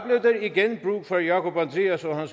igen brug for jákup andreas og